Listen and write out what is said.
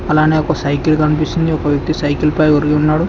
అలానే ఒక సైకిల్ కన్పిస్తుంది ఒక వ్యక్తి సైకిల్ పై ఒరిగి ఉన్నాడు.